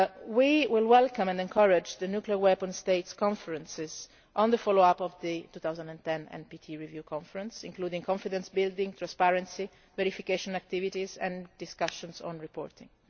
We will welcome and encourage the nuclear weapons states' conferences on the follow up of the 2010 NPT Review Conference, including confidence building, transparency, verification activities and discussions on reporting.